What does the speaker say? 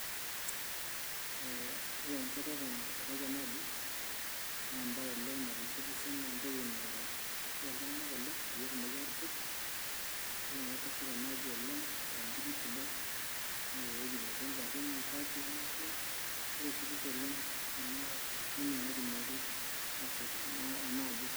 ee ore enchetata nateshetaki ena aji naa embaye oleng naitishipisho naa entoki naa kia iltung'anak oleng peyie etumoki aatusuj idol naa ajo kesheta ena aji oleng te mbinu sidai neeta ewueji netii ingarrin aipaakie neeku kitishipisho oleng ena formula naitumiaki naa ashet ena aji.